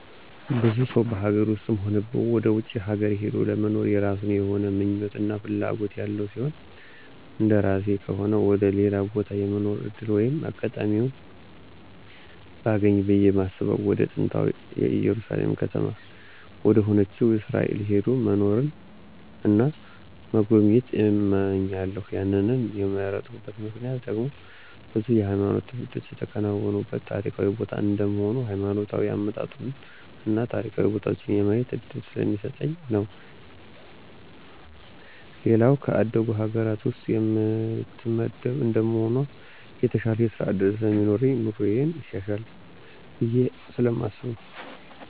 ብዙ ሰው በሀገር ውስጥም ሆነ ወደ ውጭ ሀገር ሂዶ ለመኖር የየራሱ የሆነ ምኞት እና ፍላጎት ያለው ሲሆን እንደራሴ ከሆነ ወደ ሌላ ቦታ የመኖር ዕድል ወይም አጋጣሚውን ባገኝ ብየ ማስበው ወደ ጥንታዊታ እየሩሳሌም ከተማ ወደሆነችው እስራኤል ሄዶ መኖርን እና መጎብኘት እመኛለሁ ያንን የመረጥኩበት ምክንያት ደግሞ ብዙ የሃይማኖት ትውፊቶች የተከናወኑበት ታሪካዊ ቦታ እንደመሆኑ ሀይማኖታዊ አመጣጡን እና ታሪካዊ ቦታዎችን የማየት እድል ስለሚሰጠኝ ነው። ሌላው ከአደጉ ሀገር ውስጥ የምትመደብ እንደመሆኗ የተሻለ የስራ ዕድልም ስለሚኖረኝ ኑሮየም ይሻሻላል ብየ ስለማስብ ነው።